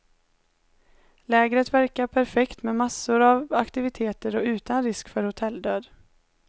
Lägret verkar perfekt med massor av aktiviteter och utan risk för hotelldöd.